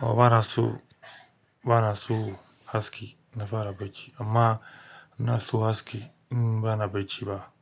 Bana so, bana so haske in na fara bacci, amma ina so haske in bana bacci ba.